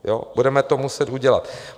Budeme to muset udělat.